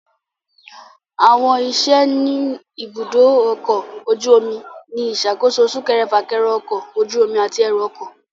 Àwọn iṣẹ́ ni ibùdó ọkọ̀ ojú omi ni ìṣàkóso súnkẹrẹ - fákẹrẹ ọkọ̀ ojú omi àti ẹrù ọkọ̀